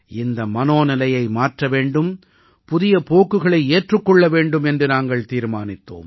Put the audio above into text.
இந்த மனோநிலையை மாற்ற வேண்டும் புதிய போக்குகளை ஏற்றுக் கொள்ள வேண்டும் என்று நாங்கள் தீர்மானித்தோம்